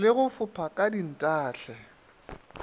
le go fopha ka dintahle